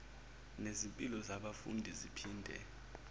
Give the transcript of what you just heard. nezimpilo zabafundi ziphinde